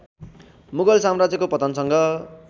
मुगल साम्राज्यको पतनसँग